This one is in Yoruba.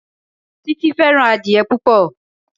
Títí fẹ́ràn adìẹ púpò.